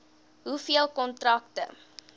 hoeveel kontrakte